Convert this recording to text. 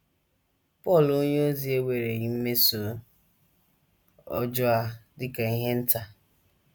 Pọl onyeozi ewereghị mmeso ọjọọ a dị ka ihe nta.